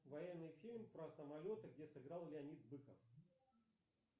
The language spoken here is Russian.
военный фильм про самолеты где сыграл леонид быков